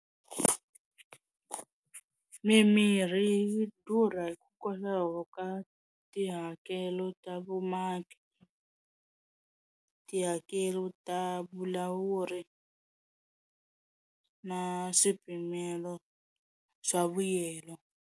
Mimirhi yi durha hikwalaho ka tihakelo ta vumaki tihakelo ta vulawuri na swipimelo swa vuyelo.